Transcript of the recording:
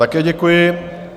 Také děkuji.